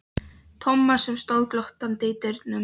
Tomma sem stóð glottandi í dyrunum.